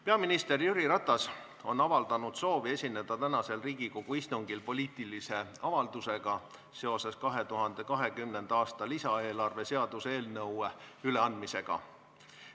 Peaminister Jüri Ratas on avaldanud soovi esineda tänasel Riigikogu istungil poliitilise avaldusega seoses 2020. aasta lisaeelarve seaduse eelnõu üleandmisega.